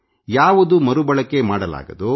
ಇದನ್ನು ನೇರವಾಗಿ ಮರುಬಳಕೆ ಮಾಡಲಾಗದು